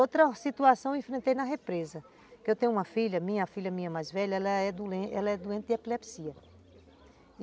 Outra situação eu enfrentei na represa, que eu tenho uma filha, minha filha, minha mais velha, ela é doente de epilepsia.